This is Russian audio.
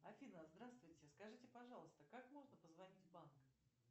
афина здравствуйте скажите пожалуйста как можно позвонить в банк